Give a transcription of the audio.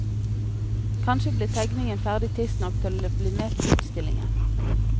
Kanskje blir tegningen ferdig tidsnok til å bli med på utstillingen.